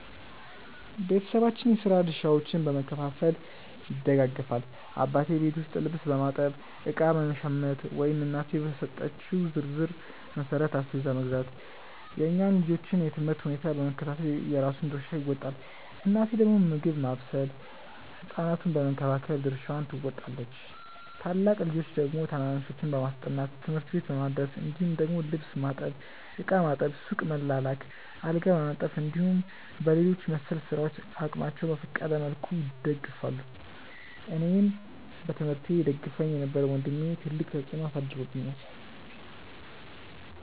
ቤተሰባችን የስራ ድርሻዎችን በመከፋፈል ይደጋገፋል። አባቴ ቤት ውስጥ ልብስ በማጠብ፣ እቃ በመሸመት ወይም እናቴ በሰጠችው ዝርዝር መሠረት አስቤዛ መግዛት፣ የእኛን የልጆቹን የ ትምህርት ሁኔታ በመከታተል የራሱን ድርሻ ይወጣል። እናቴ ደግሞ ምግብ ማብሰል ህ ሕፃናቱን በመንከባከብ ድርሻዋን ትወጣለች። ታላቅ ልጆች ደግሞ ታናናሾችን በማስጠናት፣ ትምህርት ቤት በማድረስ እንዲሁም ደግሞ ልብስ ማጠብ፣ ዕቃ ማጠብ፣ ሱቅ መላላክ፣ አልጋ በማንጠፍ እንዲሁም በሌሎች መሰል ስራዎች አቅማቸው በፈቀደ መልኩ ይደግፋሉ። አኔን በትምህርቴ ይደግፈኝ የነበረው ወንድሜ ትልቅ ተፅዕኖ አሳድሮብኛል።